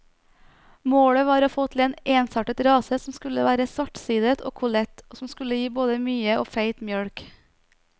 Målet var å få til en ensartet rase som skulle være svartsidet og kollet, og som skulle gi både mye og feit mjølk.